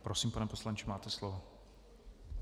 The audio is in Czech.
Prosím, pane poslanče, máte slovo.